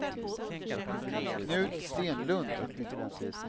Knut Stenlund